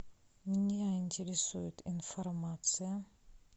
меня интересует информация